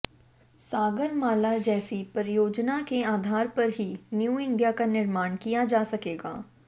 सागरमाला जैसी परियोजना के आधार पर ही न्यू इंडिया का निर्माण किया जा सकेगा